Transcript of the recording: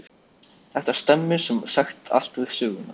Þetta stemmir sem sagt allt við söguna.